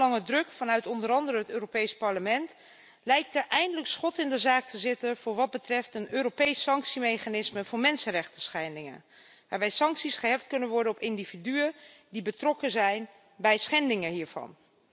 Na jarenlange druk vanuit onder andere het Europees Parlement lijkt er eindelijk schot in de zaak te zitten voor wat betreft een Europees sanctiemechanisme voor mensenrechtenschendingen, waarbij sancties gericht kunnen worden op individuen die betrokken zijn bij schendingen hiervan.